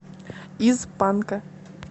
из панка